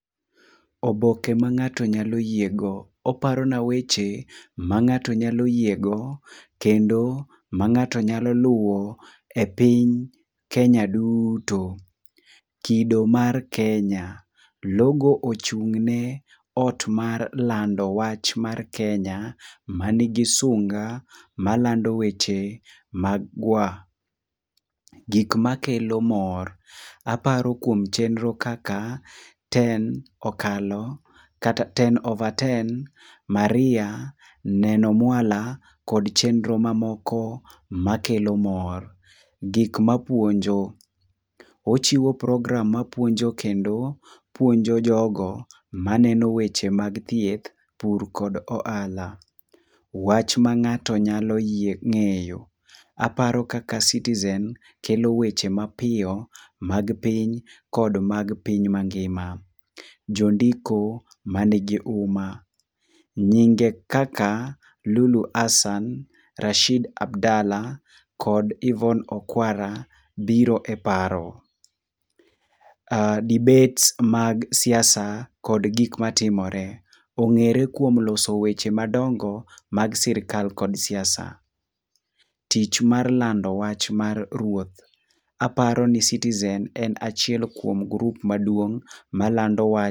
Oboke ma ng'ato nyalo yiego. Oparona weche mang'ato nyalo yiego kendo ma ng'ato nyalo luwo e piny Kenya duuto. Kido mar Kenya, logo ochung' ne ot mar lando wach mar Kenya manigi sunga malando weche magwa. Gik makelo mor. Aparo kuom chenro kaka ten okalo, kata ten over ten, Maria, Neno Mwala kod chenro mamoko makelo mor. Gik mapuonjo. Ochiwo program mapuonjo kendo puonjo jogo maneno weche mag thieth, pur kod ohala. Wach ma ng'ato nyalo ng'eyo. Aparo kaka Citizen kelo weche mapiyo mag piny, kod mag piny mangima. Jondiko man gi huma. Nyinge kaka Lulu Hassan, Rashid Abdalla, kod Yvonne Okwara biro e paro. Debates mag siasa kod gik matimore. Ong'ere kuom loso weche madongo mag sirkal kod siasa. Tich mar lando wach mar ruoth. Aparo ni Citizen en achiel kuom grup maduong' malando wach.